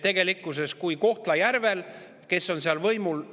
Tegelikkuses Kohtla-Järvel – kes on seal võimul?